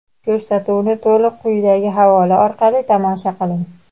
Ko‘rsatuvni to‘liq quyidagi havola orqali tomosha qiling:.